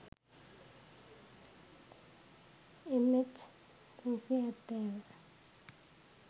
mh370